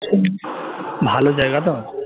হম ভালো জায়গা তো